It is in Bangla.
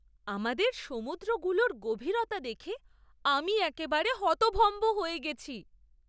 আমাদের সমুদ্রগুলোর গভীরতা দেখে আমি একেবারে হতভম্ব হয়ে গেছি!